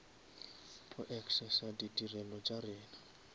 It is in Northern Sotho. go accessa ditirelo tša rena